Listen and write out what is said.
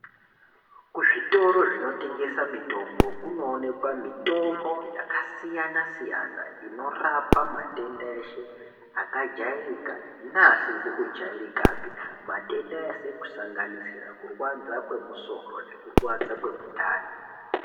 Zvitoro zvinotengesa mitombo kunoonekwa mitombo yakasiyana-siyana inorapa matenda eshe akajairika neasizi kujairikapi. Matenda ese kusanganisira kurwadza kwemusoro nekurwadza kwemundani.